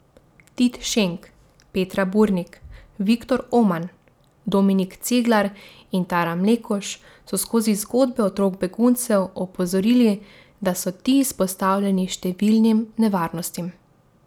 Tit Šenk, Petra Burnik, Viktor Oman, Dominik Ceglar in Tara Mlekuž so skozi zgodbe otrok beguncev opozorili, da so ti izpostavljeni številnim nevarnostim.